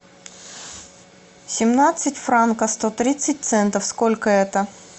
семнадцать франков сто тридцать центов сколько это